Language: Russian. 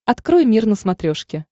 открой мир на смотрешке